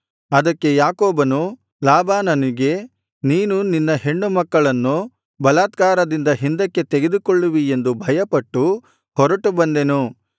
ಅದಕ್ಕೆ ಯಾಕೋಬನು ಲಾಬಾನನಿಗೆ ನೀನು ನಿನ್ನ ಹೆಣ್ಣು ಮಕ್ಕಳನ್ನು ಬಲಾತ್ಕಾರದಿಂದ ಹಿಂದಕ್ಕೆ ತೆಗೆದುಕೊಳ್ಳುವಿ ಎಂದು ಭಯಪಟ್ಟು ಹೊರಟು ಬಂದೆನು